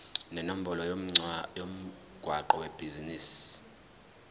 nenombolo yomgwaqo webhizinisi